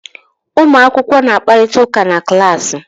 Ụmụ akwụkwọ na-akparịta ụka na klaasị.